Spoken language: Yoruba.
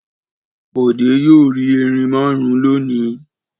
Bọ̀dé yóò rí erin márùn-ún lónìí!